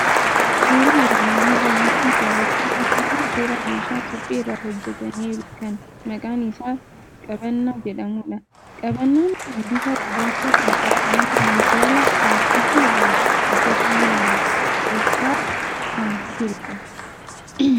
Suuraa armaan olii irraa waanti barachuun danda'amu suuraa meeshaa suphee irraa hojjetameeru kan maqaan isaa jabanaa jedhamu dha. Jabanaan kun bifa gurraacha kan qabu, mana minjaala laaastikii irraa hojjetameeru keessa kan jirudha.